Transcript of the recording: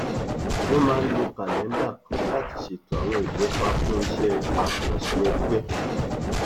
wọn máa ń lo kàlẹńdà kan láti ṣètò àwọn ìlépa fún iṣẹ àkànṣe ẹgbẹ